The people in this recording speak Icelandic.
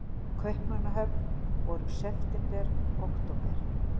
Kaupmannahöfn voru september, október.